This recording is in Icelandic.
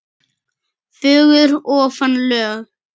fögur ofan lög.